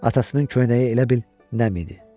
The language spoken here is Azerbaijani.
Atasının köynəyi elə bil nəm idi.